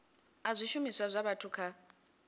a zwishumiswa zwa vhathu kha